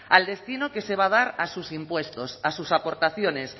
al destino que se va a dar a sus impuestos a sus aportaciones